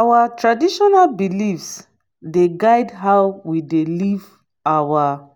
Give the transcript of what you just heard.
our traditional beliefs dey guide how we dey live our